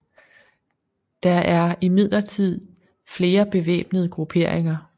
Der er imidlertid flere bevæbnede grupperinger